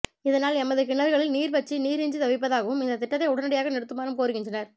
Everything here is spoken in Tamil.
இதனால் எமது கிணறுகளில் நீர்வற்றி நீரின்றி தவிப்பதாகவும் இந்த திட்டத்தை உடனடியாக நிறுத்துமாறும் கோருகின்றனர்